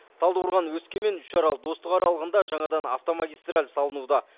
талдықорған өскемен үшарал достық аралығында жаңадан автомагистраль салынуда